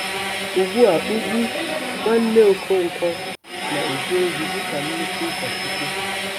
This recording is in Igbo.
Ugbu a Ugwu, nwanne Okonkwo, na-eje ozi dị ka nnukwu ụkọchukwu!